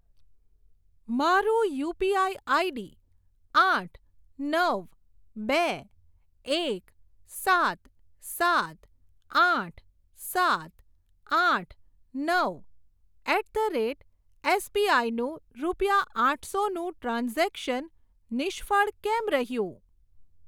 મારું UPI ID આઠ નવ બે એક સાત સાત આઠ સાત આઠ નવ એટ ધ રેટ એસબીઆઈ નું રૂપિયા આઠસો નું ટ્રાન્ઝેક્શન નિષ્ફળ કેમ રહ્યું?